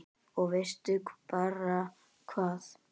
Og veistu bara hvað